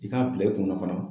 I k'a bila i kunna fana